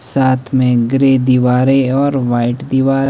साथ में ग्रे दीवारें और व्हाइट दीवार--